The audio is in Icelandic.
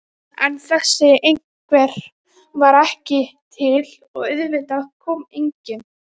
En þessi einhver var ekki til og auðvitað kom enginn.